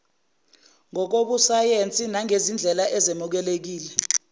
ngokobusayensi nangezindlela ezemukelekile